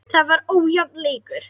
Það var ójafn leikur.